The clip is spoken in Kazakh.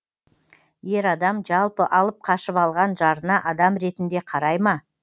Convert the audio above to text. ер адам жалпы алып қашып алған жарына адам ретінде қарай ма